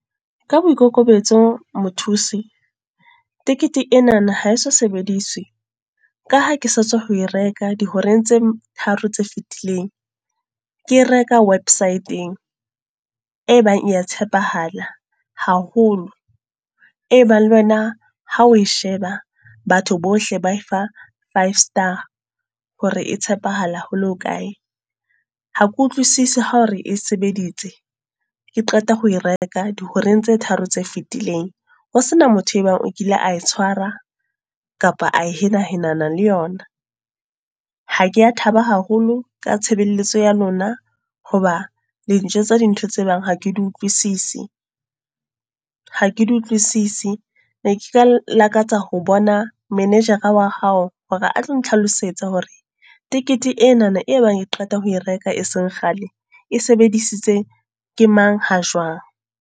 Ka boikokobetso mothusi, tekete enana ha eso sebediswi. Ka ha ke sa tswa ho e reka di horeng tse tharo tse fetileng. Ke reka website-eng, e bang ya tshepahala haholo. E bang le wena ha o e sheba, batho bohle ba e fa five star. Hore e tshepahala hole ho kae. Ha ke utlwisise hore e sebeditse, ke qeta ho e reka dihoreng tse tharo tse fetileng. Ho sena motho e bang o kile a e tshwara, kapa a hena henana le yona. Ha ke ya thaba haholo ka tshebeletso ya lona. Hoba le njwetsa tsa dintho tse bang ha ke di utlwisise, ha ke di utlwisise. Ne ke ka lakatsa ho bona manejara wa hao, hore a tlo nthlalosetsa hore tekete ena e bang e qeta ho e reka e seng kgale. E sebedisitswe ke mang, ha jwang.